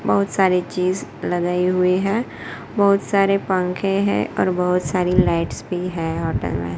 बहुत सारी चीज लगाई हुई हैं बहुत सारे पंखे हैं और बहुत सारी लाइट्स भी हैं होटल में।